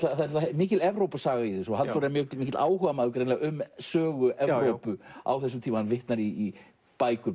mikil í þessu og Halldór er mikill mikill áhugamaður um sögu Evrópu á þessum tíma hann vitnar í bækur